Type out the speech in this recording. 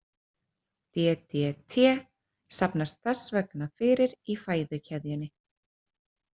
DDT safnast þess vegna fyrir í fæðukeðjunni.